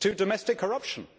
to domestic corruption.